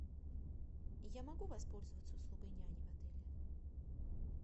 я могу воспользоваться услугой няни в отеле